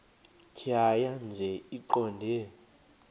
tjhaya nje iqondee